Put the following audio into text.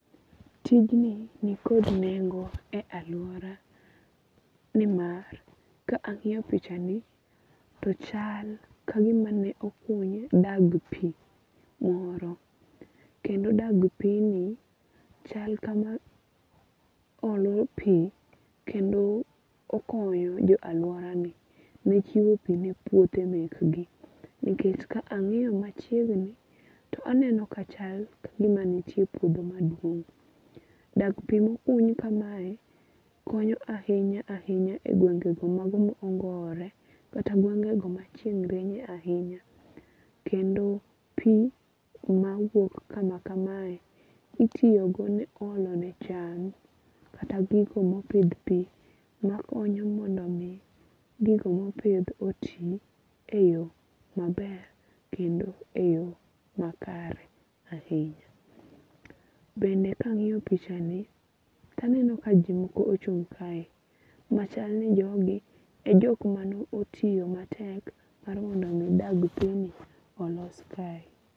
Tijni ni kod nengo e aluora ni mar ka ang'iyo pichani to chal kagimane okuny dag pi moro. Kendo dag pi ni chal kama olu pi kendo okonyo jo alupra gi ne chiwo pi ne puothe mek gi. Nikech ka ang'inyo machiegni to aneno ka chal kagima nitie puodho maduong'. Dag pi mokuny kamae konyo ahinya ahinya e gwengo mago ma ongore kata gwengo go ma chieng' rieche ahinya. Kendo pi ma wuok kama kamae itiyogodo ne olo ne cham kata gigo mopidh makonyo mondo mi gigo mopidh oti e yo maber kendo e yo makare ahinya. Bende kang'iyo pichani to aneno ka jomoko ochung' kae. Machal ni jogi e jok mane otiyo matek mar mi dag pi ni olos kae.